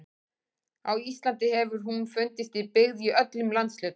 Á Íslandi hefur hún fundist í byggð í öllum landshlutum.